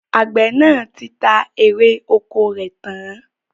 Àgbẹ̀ náà ti ta èrè ọkọ rẹ̀ tán